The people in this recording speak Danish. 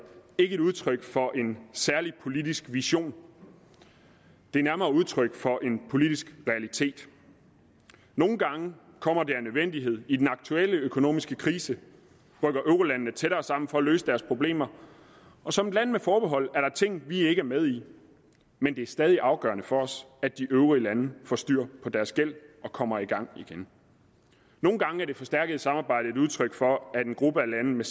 ikke et udtryk for en særlig politisk vision det er nærmere udtryk for en politisk realitet nogle gange kommer det af nødvendighed i den aktuelle økonomiske krise rykker eurolandene tættere sammen for at løse deres problemer og som et land der har forbehold er der ting vi ikke er med i men det er stadig afgørende for os at de øvrige lande får styr på deres gæld og kommer i gang igen nogle gange er det forstærkede samarbejde et udtryk for at en gruppe af lande